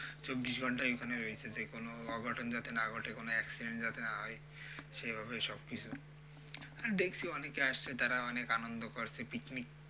চব্বিশ ঘণ্টাই ওখানে রয়েছে, যেকোনো অঘটন যাতে না ঘটে কোন accident যাতে না হয় সেইভাবেই সবকিছু আর দেখছি অনেকে আসছে তারা অনেক আনন্দ করছে picnic,